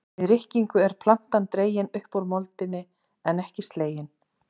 Við rykkingu er plantan dregin upp úr moldinni en ekki slegin.